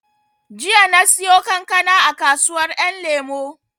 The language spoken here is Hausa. Jiya na siyo kankana a kasuwar ƴan lemo